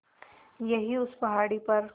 यहीं उस पहाड़ी पर